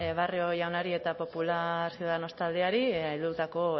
barrio jaunari eta popular ciudadanos taldeari heldutako